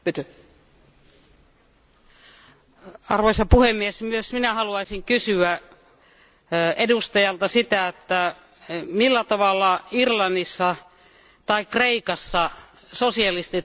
Arvoisa puhemies, myös minä haluaisin kysyä edustajalta sitä, että millä tavalla Irlannissa tai Kreikassa sosialistit olisivat velkaannuttaneet maata?